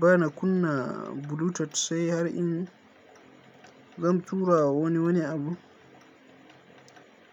Bana kunna bluetooth sai har in zan tura wa wani wani abu,